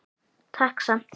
Takk samt.